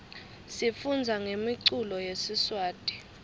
sifundza ngemiculo yesiswati